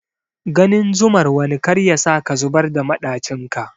Ganin zumar wani kar yasa ka zubar da maɗacin ka.